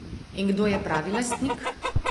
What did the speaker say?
In kdo je pravi lastnik?